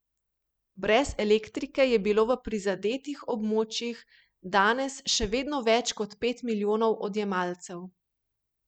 Brez elektrike je bilo v prizadetih območjih danes še vedno več kot pet milijonov odjemalcev.